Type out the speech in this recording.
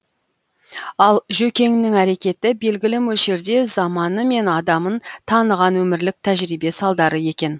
ал жөкеңнің әрекеті белгілі мөлшерде заманы мен адамын таныған өмірлік тәжірибе салдары екен